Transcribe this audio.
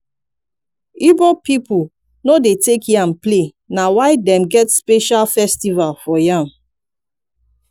igbo pipo no dey take yam play na why dem get special festival for yam